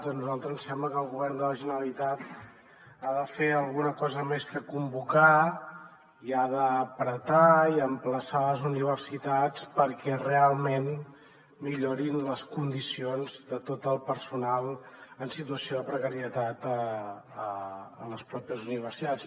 a nosaltres ens sembla que el govern de la generalitat ha de fer alguna cosa més que convocar i ha de pressionar i emplaçar les universitats perquè realment millorin les condicions de tot el personal en situació de precarietat a les pròpies universitats